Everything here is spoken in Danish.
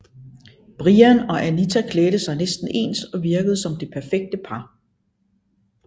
Brian og Anita klædte sig næsten ens og virkede som det perfekte par